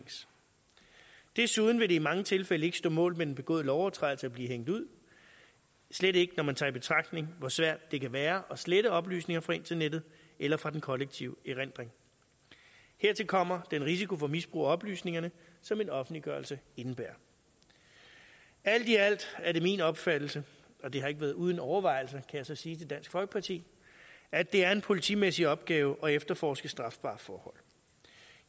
desuden vil det i mange tilfælde ikke stå mål med den begåede lovovertrædelse at blive hængt ud slet ikke når man tager i betragtning hvor svært det kan være at slette oplysninger fra internettet eller fra den kollektive erindring hertil kommer den risiko for misbrug af oplysningerne som en offentliggørelse indebærer alt i alt er det min opfattelse og det har ikke været uden overvejelser jeg så sige til dansk folkeparti at det er en politimæssig opgave at efterforske strafbare forhold